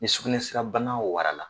Ni sugunɛsirabana warala